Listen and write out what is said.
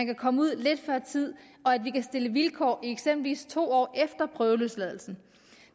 kan komme ud lidt før tid og at vi kan stille vilkår i eksempelvis to år efter prøveløsladelsen